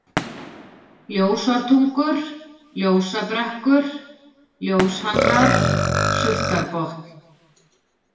Ljósártungur, Ljósabrekkur, Ljóshamrar, Sultarbotn